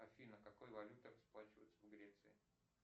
афина какой валютой расплачиваются в греции